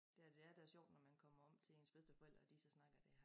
Det er det er der er sjovt når man kommer om til ens bedsteforældre at de så snakker det her